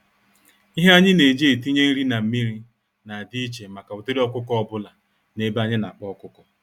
Ihe anyi neji etinye nri na mmiri, na adị íchè màkà ụdịrị ọkụkọ ọbula n'ebe anyị n'akpa ọkụkọ